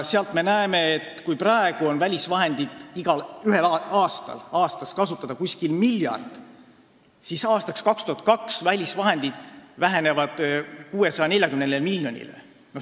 Sealt me näeme, et kui praegu on välisvahendeid igal aastal kasutada umbes miljard, siis aastaks 2022 vähenevad välisvahendid 640 miljonini.